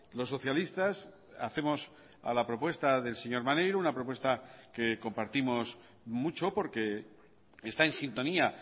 los socialistas hacemos a la propuesta del señor maneiro una propuesta que compartimos mucho porque está en sintonía